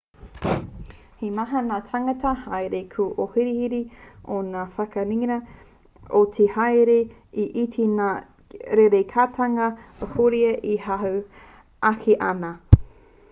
he maha ngā tāngata haereere kua ohorere i ngā whanaketanga ki te ao haereere e iti nei ngā rerekētanga ahurea e hahū ake ana